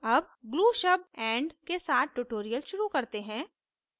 अब glue शब्द and के साथ tutorial शुरू करते हैं